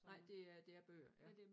Nej det er det er bøger ja